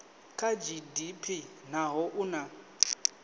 kha gdp naho u na